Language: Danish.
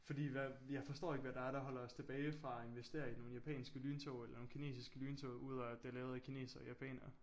Fordi hvad jeg forstår ikke hvad der er der holder os tilbage fra at investere i nogle japanske lyntog eller nogle kinesiske lyntog udover at det lavet af kinesere og japanere